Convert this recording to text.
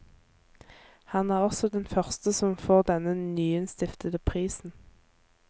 Han er også den første som får denne nyinnstiftede prisen.